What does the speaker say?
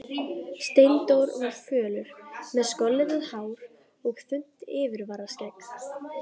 Steindór var fölur, með skollitað hár og þunnt yfirvararskegg.